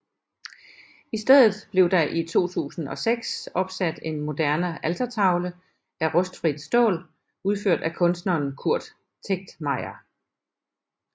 I stedet blev der i 2006 opsat en moderne altertavle af rustfrit stål udført af kunstneren Kurt Tegtmeier